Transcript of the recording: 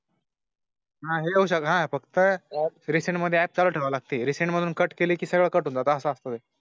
हां, hello sir हां फक्त रीसेल मध्ये ऐप चालू ठेवावे लागतील. सेट मधून कट केली की सगळं कठीण जात असते.